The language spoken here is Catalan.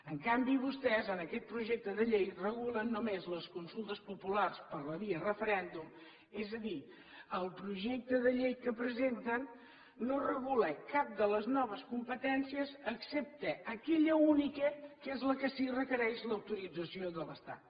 en canvi vostès en aquest projecte de llei regulen només les consultes populars per la via referèndum és a dir el projecte de llei que presenten no regula cap de les noves competències excepte aquella única que és la que sí requereix l’autorització de l’estat